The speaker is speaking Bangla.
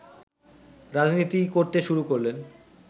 রাজনীতি করতে শুরু করলেন